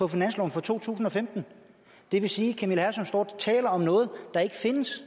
finansloven for 2015 det vil sige camilla hersom står og taler om noget der ikke findes